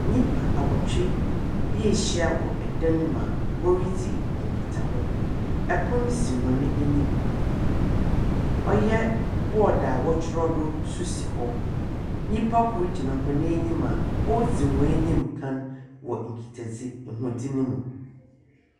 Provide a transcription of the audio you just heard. Nnipa awɔtwe bi ahya wɔ dan mu a woridzi nkitaho. Pono si hɔn enyim. Ɔyɛ board a wɔtwerɛ do nso si hɔ. Nyimpa kor gyina hɔn enyim a oridzi hɔn enyim ka wɔ nkitadzi hodzi no mu.